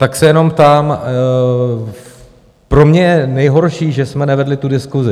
Tak se jenom ptám - pro mě je nejhorší, že jsme nevedli tu diskusi.